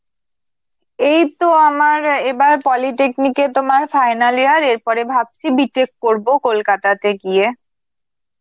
এইতো আমার এবার polytechnic এ তোমার final year, এরপরে ভাবছি B.tech করব কলকাতাতে গিয়ে.